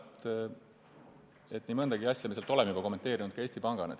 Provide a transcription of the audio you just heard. Ma arvan, et nii mõndagi asja me oleme Eesti Pangana juba kommenteerinud.